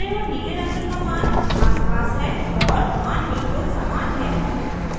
हरे और नीले रंग का मान आसपास है और मान बिल्कुल समान है